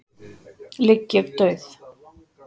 ligg ég dauð.